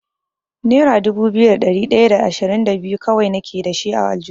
Nera dubu biyu da ɗari ɗaya da ashirin da biyu kawai nake dashi a aljihuna.